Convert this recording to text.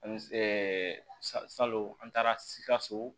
salon an taara sikaso